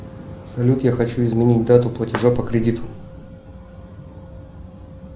салют я хочу изменить дату платежа по кредиту